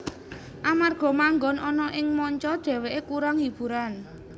Amarga manggon ana ing manca dhewekè kurang hiburan